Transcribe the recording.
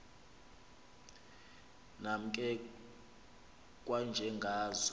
nam ke kwanjengazo